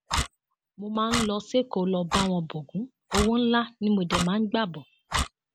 mo máa ń lọ sẹkọọ lọọ bá wọn bọgun owó ńlá ni mo dé máa ń gbà bọ